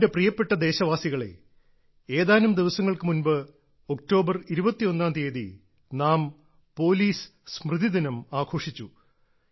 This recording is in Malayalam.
എന്റെ പ്രിയപ്പെട്ട ദേശവാസികളേ ഏതാനും ദിവസങ്ങൾക്ക് മുമ്പ് ഒക്ടോബർ 21 ാം തിയതി നാം പോലീസ് സ്മൃതിദിനം ആഘോഷിച്ചു